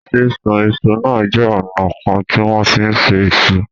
Sísun iṣu náà jẹ́ ọ̀nà kan tí wọ́n fi ń se iṣu.